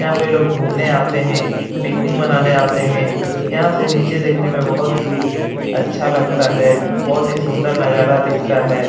यहाँ पे लोग घूमे आते है पिकनिक मनाने आते है। यहाँ से निचे देखने में बोहोत ही अच्छा लगता है। बोहोत ही सुंदर नजारा दिखता है।